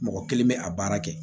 Mɔgɔ kelen bɛ a baara kɛ